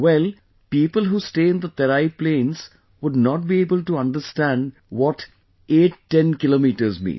Well, people who stay in the terai plains would not be able to understand what 810 kilometres mean